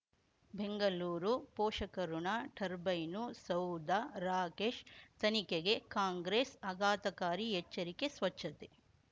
ಬೆಂಗಳೂರು ಪೋಷಕಋಣ ಟರ್ಬೈನು ಸೌಧ ರಾಕೇಶ್ ತನಿಖೆಗೆ ಕಾಂಗ್ರೆಸ್ ಆಘಾತಕಾರಿ ಎಚ್ಚರಿಕೆ ಸ್ವಚ್ಛತೆ